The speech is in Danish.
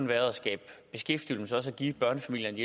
været at skabe beskæftigelse men også at give børnefamilierne